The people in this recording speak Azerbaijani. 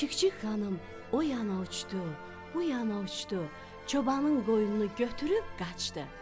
Çik-çik xanım o yana uçdu, bu yana uçdu, çobanın qoynunu götürüb qaçdı.